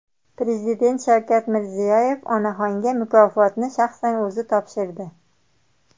Prezident Shavkat Mirziyoyev onaxonga mukofotni shaxsan o‘zi topshirdi.